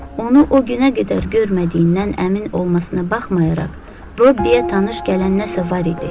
Onu o günə qədər görmədiyindən əmin olmasına baxmayaraq, Robbiyə tanış gələn nəsə var idi.